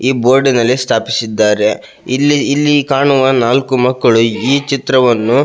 ಈ ಬೋರ್ಡಿನಲ್ಲಿ ಸ್ಟ್ಯಾಫ್ಸ್ ಇದ್ದಾರೆ ಲಿಲ್ಲಿ ಇಲ್ಲಿ ಕಾಣುವ ನಾಲಕ್ಕು ಮಕ್ಕಳು ಈ ಚಿತ್ರವನ್ನು --